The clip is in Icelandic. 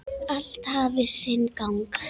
Allt hafi sinn gang.